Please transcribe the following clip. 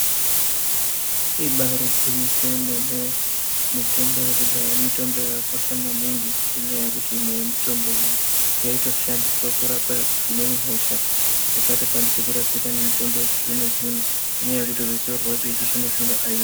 Ibairigwinyiso yemene, mitombo yekudhaya mitombo yakakosha maningi ngendaa yekuti imwe yemitombo iyi yaitoshande kurape dzimweni hosha dzisikatokwanisi kurapika ngemitombo yechizvino-zvino. Inyanya yekuti ruzivo rwacho rwechizvino zvino haina.